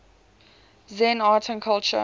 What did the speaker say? zen art and culture